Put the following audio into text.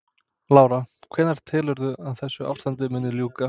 Lára: Hvenær telurðu að þessu ástandi muni ljúka?